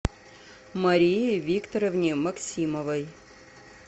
марии викторовне максимовой